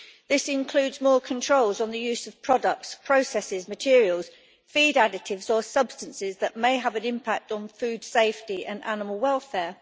This includes more controls on the use of products, processes, materials, feed additives or substances that may have an impact on food safety and animal welfare.